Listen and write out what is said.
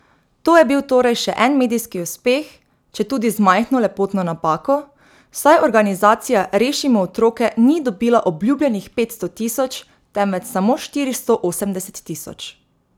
To je bil torej še en medijski uspeh, četudi z majhno lepotno napako, saj organizacija Rešimo otroke ni dobila obljubljenih petsto tisoč, temveč samo štiristo osemdeset tisoč.